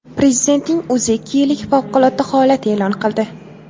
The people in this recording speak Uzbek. Prezidentning o‘zi ikki yillik favqulodda holat e’lon qildi.